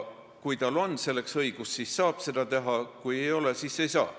Kui tal on selleks õigus, siis saab seda osta, kui ei ole, siis ei saa.